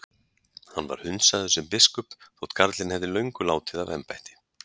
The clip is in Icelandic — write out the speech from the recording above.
Hann var hundsaður sem biskup þótt karlinn hefði löngu látið af embætti.